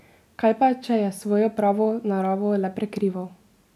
Kaj pa, če je svojo pravo naravo le prikrival?